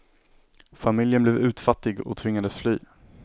Familjen blev utfattig och tvingades fly.